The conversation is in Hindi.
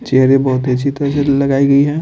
चेयरे बहुत ही अच्छी तरह से लगाई गई है।